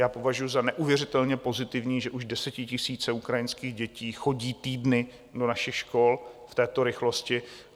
Já považuji za neuvěřitelně pozitivní, že už desetitisíce ukrajinských dětí chodí týdny do našich škol, v této rychlosti.